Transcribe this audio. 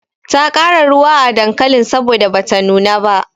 Ta ƙara ruwa a dankalin saboda bata nuna ba.